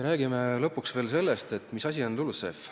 Räägime lõpuks ka sellest, mis asi on LULUCF.